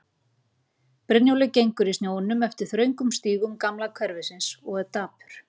Brynjólfur gengur í snjónum eftir þröngum stígum gamla hverfisins og er dapur.